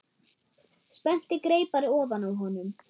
Spennti greipar ofan á honum.